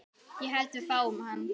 Ég held við fáum hann.